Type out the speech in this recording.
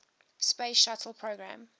space shuttle program